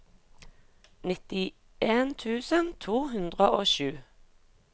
nittien tusen to hundre og sju